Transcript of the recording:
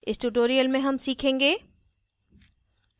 इस tutorial में हम सीखेंगे